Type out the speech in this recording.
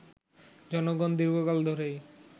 জনগণ দীর্ঘকাল ধরেই